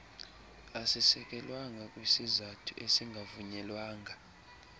asisekelwanga kwisizathu esingavunyelwanga